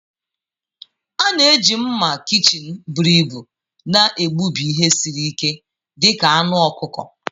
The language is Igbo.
A na-eji mma kichin buru ibu na-egbubi ihe siri ike dị ka anụ ọkụkọ.